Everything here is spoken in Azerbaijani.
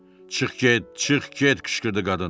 Çıx get, çıx get, qışqırdı qadın.